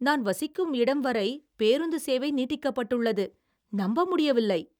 நான் வசிக்கும் இடம் வரை பேருந்து சேவை நீட்டிக்கப்பட்டுள்ளது. நம்ப முடியவில்லை!!